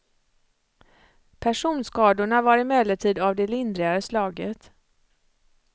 Personskadorna var emellertid av det lindrigare slaget.